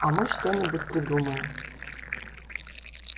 а мы что-нибудь придумаем